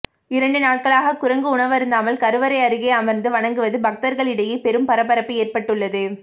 இரண்டு நாட்களாக குரங்கு உணவருந்தாமல் கருவறை அருகே அமர்ந்து வணங்குவது பக்தர்களிடையே பெரும் பரபரப்பு ஏற்பட்டுள்ளது